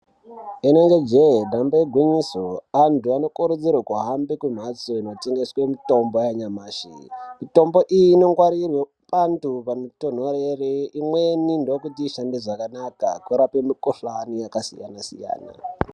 Inenge jee damba igwinyiso antu ano kurudzirwe kuhambe ku mhatso ino tengeswe mitombo ya nyamashi mitombo iyi ino ngwarirwe pantu pano tonhorere imweni ndokuti ishande zvakanaka kurape mi kuhlani yaka siyana siyana.